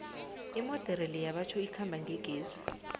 imodere leya batjho ikhamba ngegezi